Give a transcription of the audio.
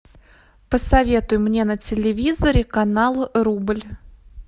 посоветуй мне на телевизоре канал рубль